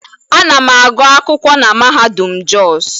A na m agụ akwụkwọ na mahadum Jos